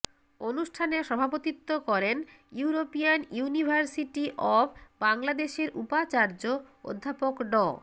অনুষ্ঠানে সভাপতিত্ব করেন ইউরোপিয়ান ইউনিভার্সিটি অব বাংলাদেশের উপাচার্য অধ্যাপক ড